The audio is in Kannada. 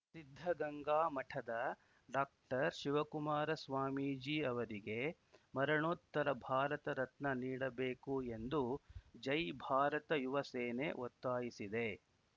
ಸಿದ್ಧಗಂಗಾ ಮಠದ ಡಾಶಿವಕುಮಾರ ಸ್ವಾಮೀಜಿ ಅವರಿಗೆ ಮರಣೋತ್ತರ ಭಾರತ ರತ್ನ ನೀಡಬೇಕು ಎಂದು ಜೈ ಭಾರತ ಯುವ ಸೇನೆ ಒತ್ತಾಯಿಸಿದೆ